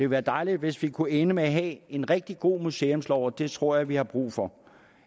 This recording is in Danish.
være dejligt hvis vi kunne ende med at en rigtig god museumslov og det tror jeg vi har brug for